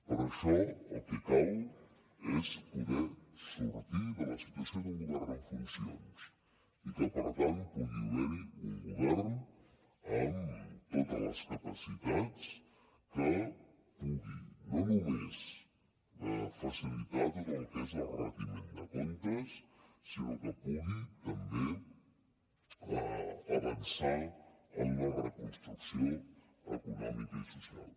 per això el que cal és poder sortir de la situació d’un govern en funcions i que per tant pugui haver hi un govern amb totes les capacitats que pugui no només facilitar tot el que és el retiment de comptes sinó que pugui també avançar en la reconstrucció econòmica i social